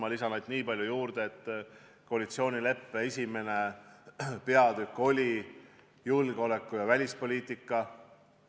Ma lisan ainult niipalju juurde, et koalitsioonileppe 1. peatükk on "Välis- ja julgeolekupoliitika".